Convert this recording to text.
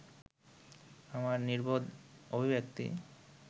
আমার নির্বোধ অভিব্যক্তি